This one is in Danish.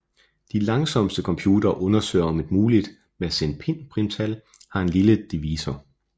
De langsomste computere undersøger om et muligt mersenneprimtal har en lille divisor